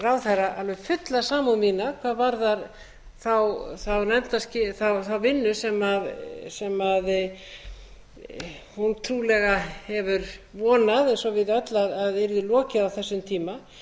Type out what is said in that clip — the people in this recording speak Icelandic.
ráðherra alveg fulla samúð mína hvað varðar þá vinnu sem hún trúlega hefur vonað eins og við öll að yrði lokið á þessum tíma